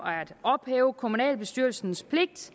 at ophæve kommunalbestyrelsens pligt